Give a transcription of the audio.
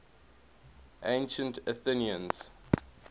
ancient athenians